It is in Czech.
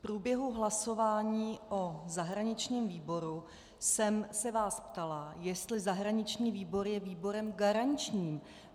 V průběhu hlasování o zahraničním výboru jsem se vás ptala, jestli zahraniční výbor je výborem garančním.